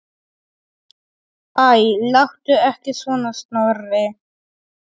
Æ, láttu ekki svona, Snorri.